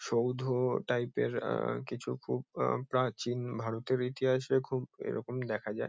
সৌধ type -এর আহ কিছু খুব আহ প্রাচীন ভারতের ইতিহাসে খুব এরকমই দেখা যায়।